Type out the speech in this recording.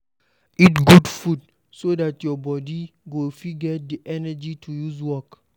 Eat good food so dat your body go fit get di energy to use work